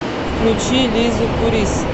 включи лизу пурис